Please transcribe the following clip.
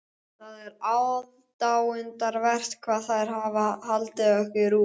Það er aðdáunarvert hvað þær hafa haldið okkur út.